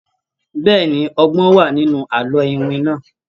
Bẹ́ẹ̀ni, ọgbọ́n wà nínú àlọ́ iwin náà.